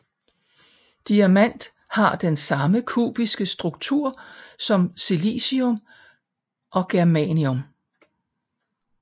Diamant har den samme kubiske struktur som silicium og germanium